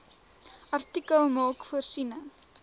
artikel maak voorsiening